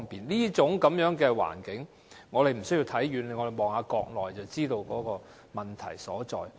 這種環境，我們無須看遠處，只要看看國內便知道問題所在。